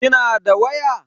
Kina da waya?